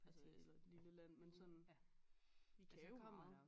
Altså eller et lille land men sådan vi kan jo meget